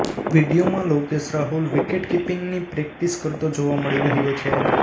વીડિયોમાં લોકેશ રાહુલ વિકેટકીપિંગની પ્રેક્ટિસ કરતો જોવા મળી રહ્યો છે